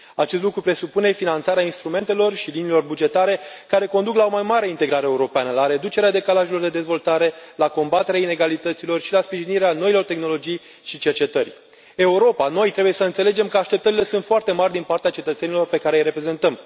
Acest lucru presupune finanțarea instrumentelor și liniilor bugetare care conduc la o mai mare integrare europeană, la reducerea decalajelor de dezvoltare, la combaterea ilegalităților și la sprijinirea noilor tehnologii și cercetări. Europa, noi, trebuie să înțelegem că așteptările sunt foarte mari din partea cetățenilor pe care îi reprezentăm.